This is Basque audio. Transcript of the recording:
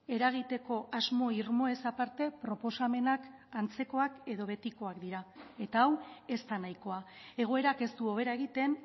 eragiteko asmo irmoez aparte proposamenak antzekoak edo betikoak dira eta hau ez da nahikoa egoerak ez du hobera egiten